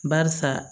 Barisa